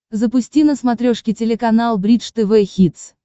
запусти на смотрешке телеканал бридж тв хитс